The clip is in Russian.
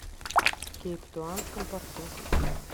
в кейптаунском порту